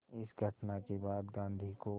इस घटना के बाद गांधी को